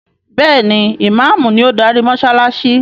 Béèni Imàámu ni o darí mósálásí.